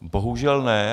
Bohužel ne.